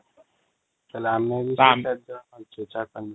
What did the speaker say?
ତାହେଲେ ଆମେ ବି କ'ଣ